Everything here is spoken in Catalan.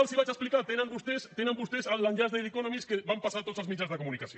els hi vaig explicar tenen vostès l’enllaç de the economist que van passar a tots els mitjans de comunicació